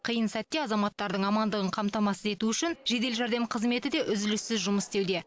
қиын сәтте азаматтардың амандығын қамтамасыз ету үшін жедел жәрдем қызметі де үзіліссіз жұмыс істеуде